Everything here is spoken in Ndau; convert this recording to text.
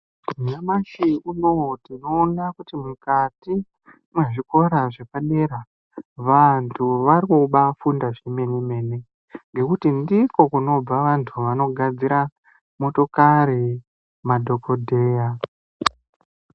Nyamashi unou tinoona kuti mukati muzvikora zvakamera vanthu varikubaafunda zvemene mene ngekuti ndiko kunobva vanthu vanogadzira motokari madhokodheya.